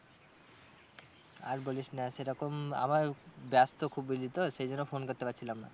আর বলিস না সেরকম আমার ব্যস্ত খুব বেশি তো সেই জন্যে phone করতে পারছিলাম না।